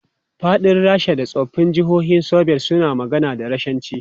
Faɗin Rasha da tsoffin jihohin Soviet suna magana da Rashanci.